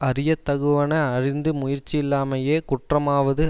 அறிய தகுவன அறிந்து முயற்சியில்லாமையே குற்றமாவது